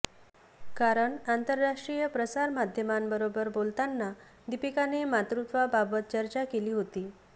कारण आंतरराष्ट्रीय प्रसार माध्यमांबरोबर बोलताना दीपिकाने मातृत्वाबाबत चर्चा केली होती